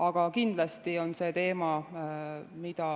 Aga kindlasti on see teema, mida